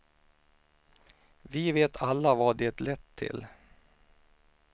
Vi vet alla vad det lett till.